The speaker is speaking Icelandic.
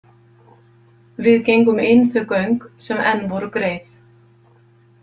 Við gengum inn þau göng sem enn voru greið.